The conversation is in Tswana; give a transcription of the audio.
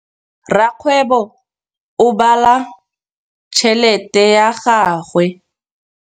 Rakgwêbô o bala tšheletê ya gagwe.